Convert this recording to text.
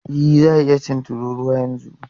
E, za a iya cin tururuwan yanzu.